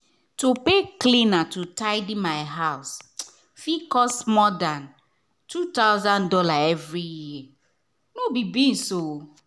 to pay cleaner to tidy my house fit cost more than two thousand dollars every year — no be beans.